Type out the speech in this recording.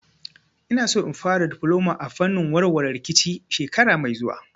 Ina so in fara difloma a fannin warware rikici shekara mai zuwa